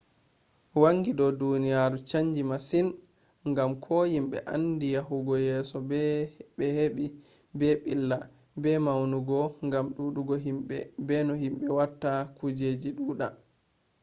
wangi do duniyaru do chanji masin gam ko himbe andi be yahugo yeso be hebi be billa beddi maunugo gam dudugo himbe be no himbe watta kujeji duda